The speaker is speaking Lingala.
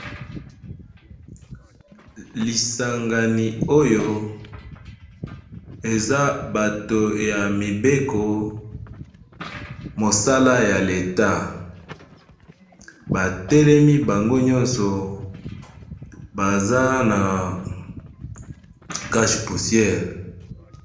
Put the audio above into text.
Lisangani oyo eza bato yamibeko mosala ya l'Etat batelemi bango nyoso baza na cache poussière.